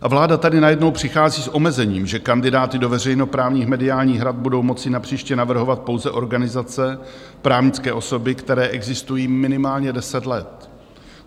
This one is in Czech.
A vláda tady najednou přichází s omezením, že kandidáty do veřejnoprávních mediálních rad budou moci napříště navrhovat pouze organizace, právnické osoby, které existují minimálně deset let.